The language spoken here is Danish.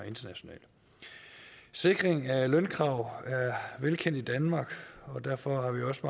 sikring af lønkrav er velkendt i danmark og derfor har vi også